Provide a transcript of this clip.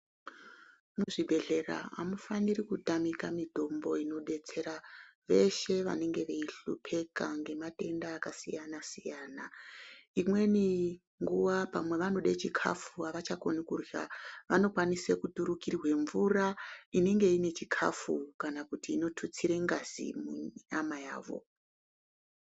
Muzvibhedhlera amufaniri kutamika mitombo inobetsera veshe vanenge veihlupika ngematenda akasiyana siyana, imweni nguwa pamwe vanode chikafu, avachakoni kurya vanokwanise kuturukirwe mvura inenge ine chikafu kana kuti inotutsire ngazi munyama yavo.